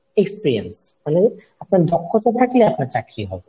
Experience মানে আপনার দক্ষতা থাকলে আপনার চাকরি হবে।